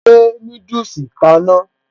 Ó gbé núdùsì kaná